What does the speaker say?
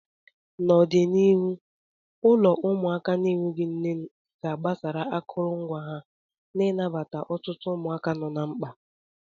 N'ọdịniihu, ụlọ ụmụaka na-enweghị nne ga-agbasa akụrụngwa ha ị nabata ọtụtụ ụmụaka nọ na mkpa.